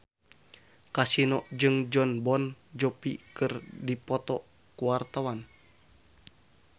Kasino jeung Jon Bon Jovi keur dipoto ku wartawan